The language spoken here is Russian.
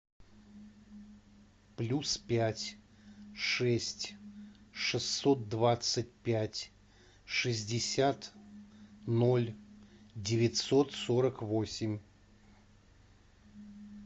плюс пять шесть шестьсот двадцать пять шестьдесят ноль девятьсот сорок восемь